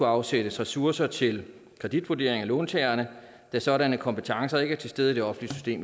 afsættes ressourcer til kreditvurdering af låntagerne da sådanne kompetencer ikke er til stede i det offentlige